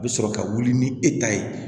A bɛ sɔrɔ ka wuli ni e ta ye